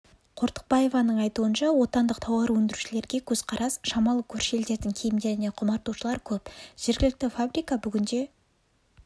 қортықбаеваның айтуынша отандық тауар өндірушілерге көзқарас шамалы көрші елдердің киімдеріне құмартушылар көп жергілікті фабрика бүгінде